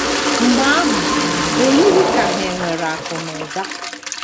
Mgbe ahụ, o yighị ka hà nwere akụ̀ na ụba.